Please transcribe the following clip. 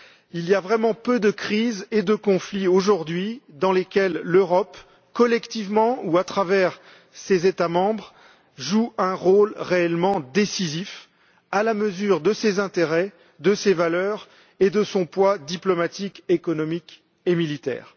Il y a vraiment peu de crises et de conflits aujourd'hui dans lesquels l'Europe, collectivement ou par l'intermédiaire de ses États membres, joue un rôle réellement décisif à la mesure de ses intérêts, de ses valeurs et de son poids diplomatique, économique et militaire.